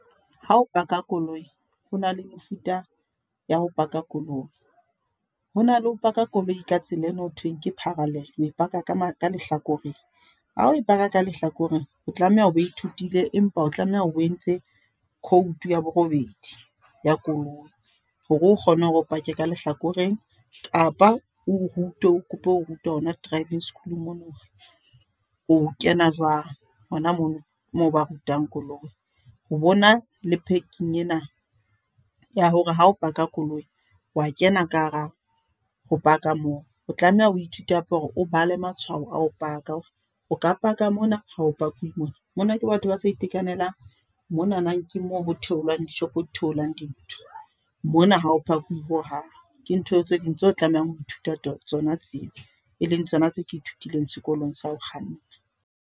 Hao park-a koloi. Hona le mefuta, ya ho park-a koloi. Ho na le ho park-a koloi ka tsela eno thweng ke parallel, o e park-a ka mane ka lehlakoreng. Ha o e park-a ka lehlakoreng, o tlameha hore o bo ithutile. Empa o tlameha o entse code ya borobedi, ya koloi. Hore o kgone ho park-e ka lehlakoreng. Kapa o rutwe, o kope ho rutwa hona driving school mono, hore o kena jwang. Hona mono, moo ba rutang koloi. Ho bo na le parking ena ya hore ha o park-a koloi wa kena ka hara ho park-a moo. O tlameha o ithute hape hore o bale matshwao a ho park-a. Hore o ka park-a mona, hao park-e mona. Mona ke batho ba sa itekanelang, monana ke moo ho theolang di-shop-o di theolang dintho, mona haho park-uwi hohang. Ke ntho tse ding tseo tlamehang ho ithuta tsona tseo. E leng tsona tse ke ithutileng sekolong sa ho kganna.